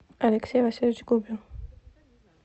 алексей васильевич губин